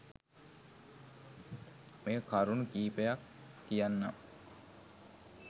මේ කරුණු කීපයත් කියන්නම්.